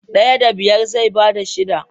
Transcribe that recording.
Daya da biyar zai bada shida.